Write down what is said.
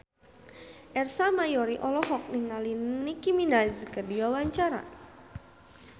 Ersa Mayori olohok ningali Nicky Minaj keur diwawancara